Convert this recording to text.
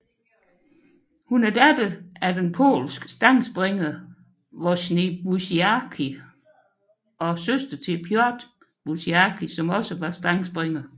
Hun er datter til den polske stangspringer Wojciech Buciarski og søster til Piotr Buciarski som også var stangspringer